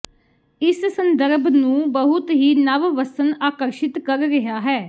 ਇਸ ਸੰਦਰਭ ਨੂੰ ਬਹੁਤ ਹੀ ਨਵ ਵੱਸਣ ਆਕਰਸ਼ਿਤ ਕਰ ਰਿਹਾ ਹੈ